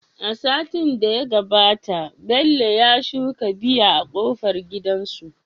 Satin da ya gabata Bello ya shuka biya a kofar gidansu